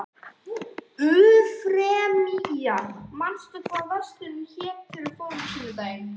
Eufemía, manstu hvað verslunin hét sem við fórum í á sunnudaginn?